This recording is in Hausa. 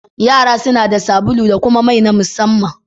Yara suna da sabulu da kuma mai na musamman.